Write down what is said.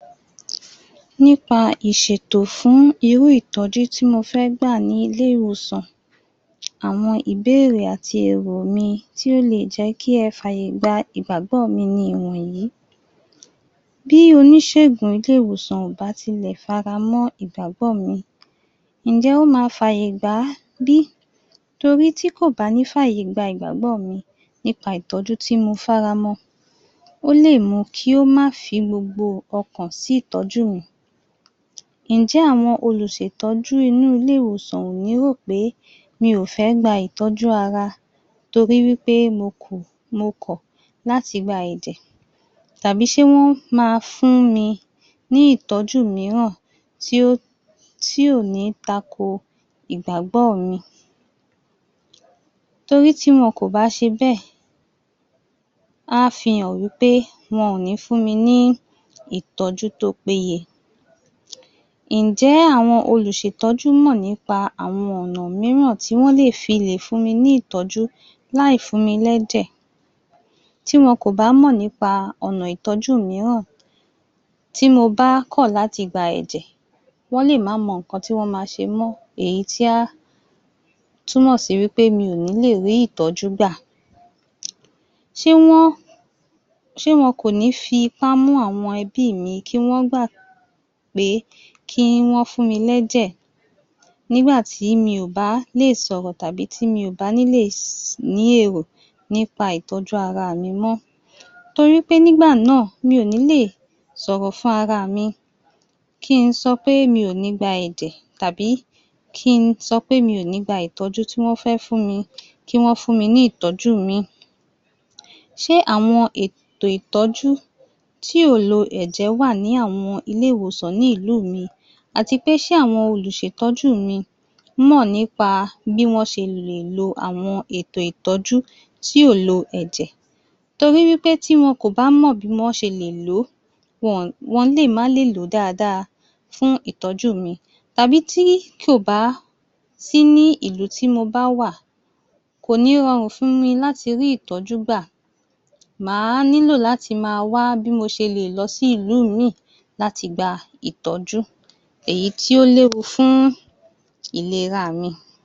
Nípa ìṣètò fún irú ìtọ́jú tí mo fẹ gbà ní ilé-ìwòsàn. Àwọn ìbéèrè àti ẹ̀rù mi tí ó lè jẹ́ kị́ ẹ fi àyè gbà ìgbàgbọ́ mi ni wọ̀nyí. Bi oníṣègùn ilé-ìwòsàn ò bá tì lè fara mọ́ ìgbàgbọ́ mi, Ǹjẹ́ ó má fàyè gbà bí torí tí kò bá ti ní fi àyè gbà ìgbàgbọ́ mi nípa ìtọ́jú ti mo faramọ́ ó lè mú kí o má fi gbogbo ọkàn sí ìtọ́jú mi. Ǹjẹ́ àwọn olùṣètọ́jú inú ilé-ìwòsàn ò ní rò pé mi ò fẹ gba ìtọ́jú ara torí wí pé mo kọ̀ láti gba ẹ̀jẹ̀ tàbí ṣe wọn máa fún mi ní ìtọ́jú mìíràn tí ò ni tako igbàgbọ mi? Torí tí wọn kò bá ṣe bẹ́ẹ̀, a fihàn wí pé wọn ò ní fún mi ní ìtọ́jú tí o péye. Ǹjẹ́ àwọn olùṣètọ́jú mọ̀ nípa àwọn ọ̀nà mìíràn tí wọ́n lè fi lè fún mi ní ìtọ́jú láì fún mi lẹ́jẹ̀? Tí wọn kò bá mọ̀ nípa ọ̀nà ìtọ́jú mìíràn tí mo bá kọ̀ láti gba ẹ̀jẹ̀ wọ́n lè máa mọ nǹkan tí wọn máa ṣe mọ́ èyí tí á túmọ̀ sí wí pé mi ò ni lè rí ìtọ́jú gbà. Ṣe wọn sẹ wọn kò ní fipá mu àwọn ẹbí mí kí wọ́n gbà pé kí wọ́n fún mi ní ẹ̀jẹ̀ nígbà tí mi ò bá lè sọ̀rọ̀ tàbí tí mi ò bá ní lè ní èrò nípa ìtọ́jú ara mi mọ́? Torí pé nígbà náà mi ò ní lè sọ̀rọ̀ fún ara mí kí sọ pé mi ò ní gbà ẹ̀jẹ̀ tàbí kí sọ pé mi ò ní gba ìtọ́jú tí wọ́n fẹ́ fún mi kí wọ́n fún mi ní ìtọ́jú ìmí. Ṣe àwọn ètò ìtọ́jú tí ò lo ẹ̀jẹ̀ wà ní àwọn ilé-ìwòsàn ní ìlú mi àti pé ṣe àwọn olùṣètọ́jú mí mọ̀ nípa bí wọn ṣe lè lo àwọn ètò ìtọ́jú tí kò lo ẹ̀jẹ̀? Torí wí pé tí wọn kò bá mọ̀ bí wọn ṣe lè lò ó wọ́n lè má lè lò ó dára dára fún ìtọ́jú mi tàbí tí kò bá sí ní ìlú tí mo bá wà kò ní rọrùn fún mi láti rí ìtọ́jú gbà. Ma lílò láti máa wá bí mo ṣe lè lọsí ìlú ìmí láti gbà ìtọ́jú èyí tí o léwu fún ìlera mi.